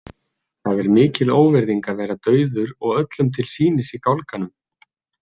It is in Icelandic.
Það er mikil óvirðing að vera dauður og öllum til sýnis í gálganum.